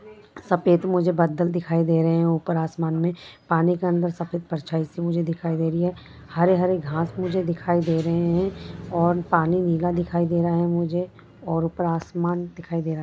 सफ़ेद मुझे बादल दिखाई दे रहे हैं ऊपर आसमान में पानी के अंदर परछाई सी मुझे दिखाई दे रही है हरे-हरे घास मुझे दिखाई दे रहे हैं और पानी नीला दिखाई दे रहा है मुझे और ऊपर आसमान दिखाई दे रहा है।